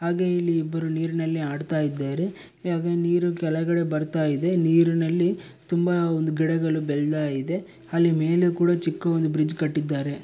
ಹಾಗೆ ಇಲ್ಲಿ ಇಬ್ಬರು ನೀರಿನಲ್ಲಿ ಅಡತ ಇದ್ದಾರೆ ಯಾಕೋ ನೀರು ಕೆಳಗಡೆ ಬರ್ತಾ ಇದೆ ನೀರಿನಲ್ಲಿ ತುಂಬಾ ಒಂದು ಗಿಡಗಳು ಬೆಳ್ದಾ ಇದೆ ಅಲ್ಲಿ ಮೆಲೆ ಮೇಲೆ ಕೂಡ ಚಿಕ್ದುದ ಒಂದು ಬ್ರಿಡ್ಜ್ ಕಟ್ಟಿದಾರೆ .